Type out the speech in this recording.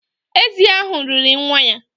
Ézì ahụ riri nwa ya